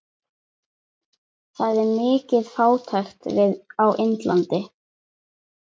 Það er mikil fátækt á Indlandi.